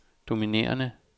dominerende